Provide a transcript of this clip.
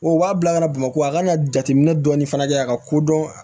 O b'a bila ka na bamakɔ a kana jateminɛ dɔɔni fana kɛ a ka kodɔn